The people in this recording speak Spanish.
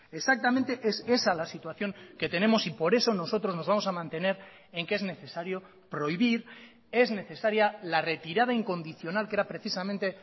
exactamente es esa la situación que tenemos y por eso nosotros nos vamos a mantener en que es necesario prohibir es necesaria la retirada incondicional que era precisamente